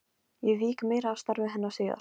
Ég vík meira að starfi hennar síðar.